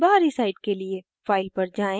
* और दूसरा बाहरी side के लिए